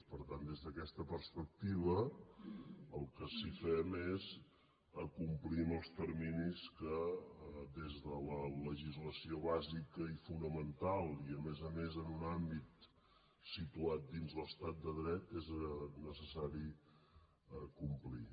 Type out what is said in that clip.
per tant des d’aquesta perspectiva el que sí que fem és complir amb els terminis que des de la legislació bàsica i fonamental i a més a més en un àmbit situat dins l’estat de dret és necessari complir